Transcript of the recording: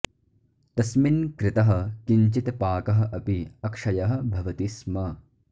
तस्मिन् कृतः किञ्चित् पाकः अपि अक्षयः भवति स्म